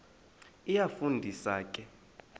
iyafu ndisa ke